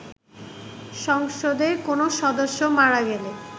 সংসদের কোনো সদস্য মারা গেলে